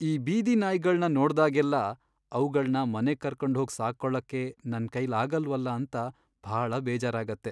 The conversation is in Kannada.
ಈ ಬೀದಿ ನಾಯಿಗಳ್ನ ನೋಡ್ದಾಗೆಲ್ಲ ಅವ್ಗಳ್ನ ಮನೆಗ್ ಕರ್ಕೊಂಡ್ ಹೋಗ್ ಸಾಕ್ಕೊಳಕ್ಕೆ ನನ್ಕೈಲಾಗಲ್ವಲ್ಲ ಅಂತ ಭಾಳ ಬೇಜಾರಾಗತ್ತೆ.